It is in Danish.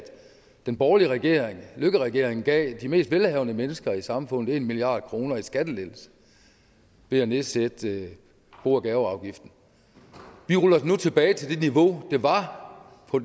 den borgerlige regering løkkeregeringen gav de mest velhavende mennesker i samfundet en milliard kroner i skattelettelser ved at nedsætte bo og gaveafgiften vi ruller den nu tilbage til det niveau den var på